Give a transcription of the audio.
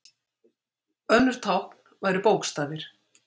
önnur tákn væru bókstafir